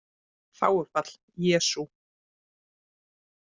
Þágufall: Jesú